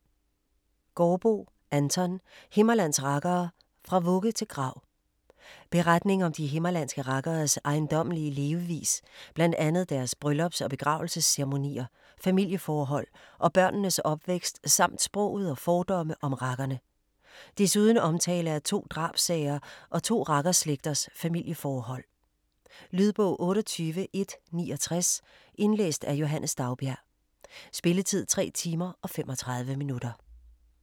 Gaardboe, Anton: Himmerlands rakkere: Fra vugge til grav Beretning om de himmerlandske rakkeres ejendommelige levevis, bl.a. deres bryllups- og begravelsesceremonier, familieforhold og børnenes opvækst samt sproget og fordomme om rakkerne. Desuden omtale af to drabssager og to rakkerslægters familieforhold. . Lydbog 28169 Indlæst af Johannes Daugbjerg Spilletid: 3 timer, 35 minutter.